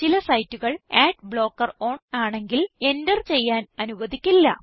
ചില സൈറ്റുകൾ ad blocker on ആണെങ്കിൽ എന്റർ ചെയ്യാൻ അനുവധിക്കില്ല